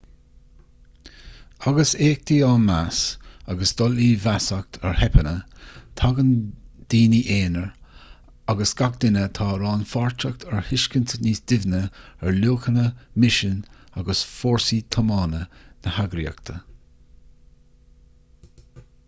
agus éachtaí á meas agus dul i bhfeasacht ar theipeanna tagann daoine aonair agus gach duine atá rannpháirteach ar thuiscint níos doimhne ar luachanna misean agus fórsaí tiomána na heagraíochta